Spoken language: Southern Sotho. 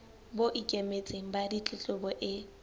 bo ikemetseng ba ditletlebo e